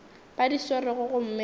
ba di swerego gomme ba